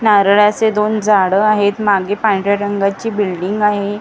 नारळाचे दोन झाडं आहेत मागे पांढऱ्या रंगाची बिल्डींग आहे समोर--